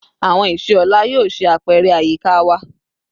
Awọn iṣe ọla yoo ṣe apẹrẹ ayika wa